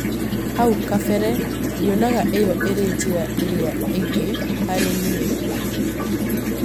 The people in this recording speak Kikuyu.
haũ kabere ndionaga ĩyo irĩ njira ĩrĩa ĩngĩ harĩ nĩe